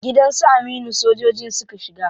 Gidan su Aminu sojojin suka shiga.